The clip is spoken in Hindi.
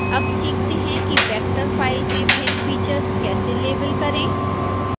अब सीखते हैं कि वेक्टर फाइल में भिन्न फीचर्स कैसे लेबल करें